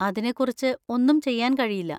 അതിനെക്കുറിച്ച് ഒന്നും ചെയ്യാൻ കഴിയില്ല.